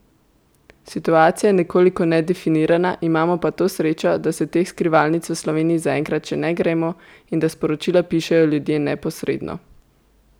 Situacija je nekoliko nedefinirana, imamo pa to srečo, da se teh skrivalnic v Sloveniji zaenkrat še ne gremo in da sporočila pišejo ljudje neposredno.